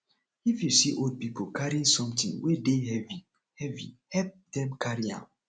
if you see old pipo carrying something wey de heavy heavy help dem carry am